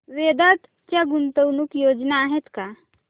वेदांत च्या गुंतवणूक योजना आहेत का